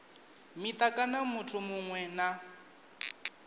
mita kana muthu muṅwe na